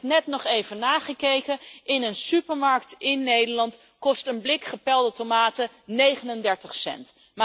Ik heb het net nog even nagekeken in een supermarkt in Nederland kost een blik gepelde tomaten 39 cent.